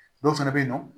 Dɔw fɛnɛ be yen nɔ